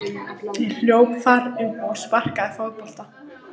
Ég hljóp þar um og sparkaði fótbolta.